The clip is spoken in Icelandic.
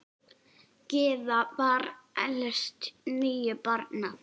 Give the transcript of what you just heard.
Gyða var elst níu barna.